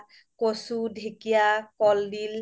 কছো, ধেকিয়া, ক্'লদিল